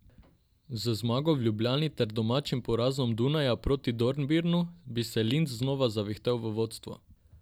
Z zmago v Ljubljani ter domačim porazom Dunaja proti Dornbirnu bi se Linz znova zavihtel v vodstvo.